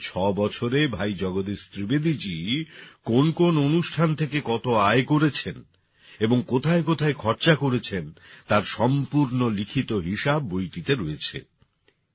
গত ৬ বছরে ভাই জগদীশ ত্রিবেদীজী কোন কোন অনুষ্ঠান থেকে কত আয় করেছেন এবং কোথায় কোথায় খরচা করেছেন তার সম্পূর্ণ লিখিত হিসাব বইটিতে রয়েছে